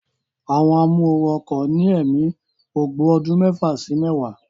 Àwọn amóooru ọkọ̀ ní ẹ̀mí ogbó ọdún mẹ́fà sí mẹ́wàá